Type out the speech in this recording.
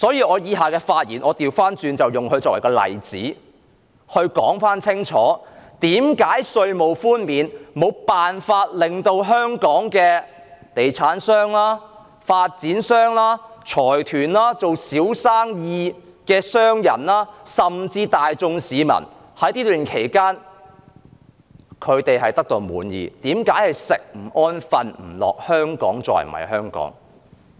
我以下的發言會以他作為例子，清楚說明為何稅務寬免無法安撫香港的地產商、發展商、財團、從事小生意的商人，甚至大眾市民，以及為何在這段時間他們會寢食不安，感到香港再不是香港。